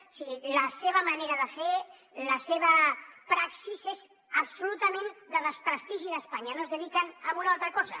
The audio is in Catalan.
o sigui la seva manera de fer la seva praxis és absolutament de desprestigi d’espanya no es dediquen a una altra cosa